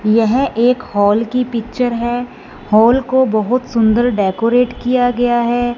यह एक हॉल की पिक्चर हैं हॉल को बहोत सुंदर डेकोरेट किया गया हैं।